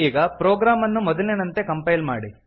ಈಗ ಪ್ರೊಗ್ರಾಮ್ ಅನ್ನು ಮೊದಲಿನಂತೆ ಕಂಪೈಲ್ ಮಾಡಿ